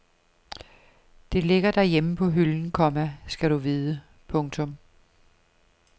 Det ligger derhjemme på hylden, komma skal du vide. punktum